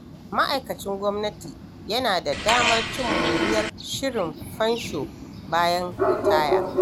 Ma’aikacin gwamnati yana da damar cin moriyar shirin fansho bayan ritaya.